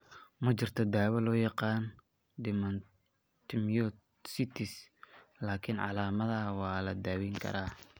Ma jirto daawo loo yaqaan dermatomyositis, laakiin calaamadaha waa la daweyn karaa.